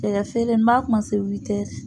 Cɛkɛfeere n m'a